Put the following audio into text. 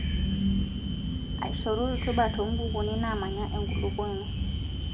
Aishoru rutubaa too nkukuni naamanya enkulukuoni.